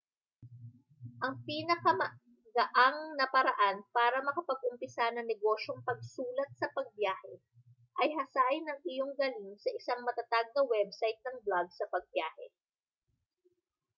ang pinakamagaang na paraan para makapag-umpisa ng negosyong pagsulat sa pagbiyahe ay hasain ang iyong galing sa isang matatag na website ng blog sa pagbiyahe